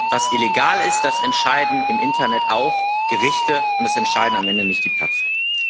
was illegal ist, das entscheiden auch im Internet Gerichte und das entscheidet am Ende nicht die Plattform.